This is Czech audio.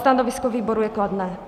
Stanovisko výboru je kladné.